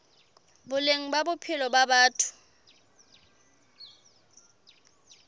boleng ba bophelo ba batho